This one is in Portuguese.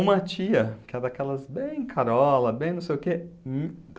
Uma tia, que é daquelas bem carola, bem não sei o quê,